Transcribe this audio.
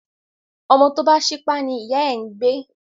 Ọmọ tó bá ṣípá ní ìyá ẹ̀ ń gbé